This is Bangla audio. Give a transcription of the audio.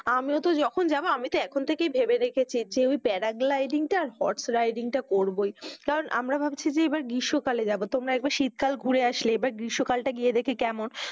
আমিও তো যখন যাবো আমি তো এখন থেকেই ভেবে দেখেছি যে ওই parad lighting টা আর horse riding টা করবোই, কারণ আমরা ভাবছি যে এবার গ্রীষ্মকালে যাবো, তোমরা একবার শীতকাল ঘুরে আসলে এবার গ্রীষ্মকালটা গিয়ে দেখি কেমন?